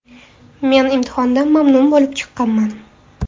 Men imtihondan mamnun bo‘lib chiqqanman.